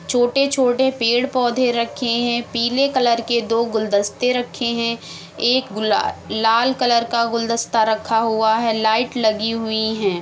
छोटे-छोटे पेड़-पौधे रखे हैं पीले कलर के दो गुलदस्ते रखे हैं। एक गुला लाल कलर का गुलदस्ता रखा हुआ है। लाइट लगी हुई हैं।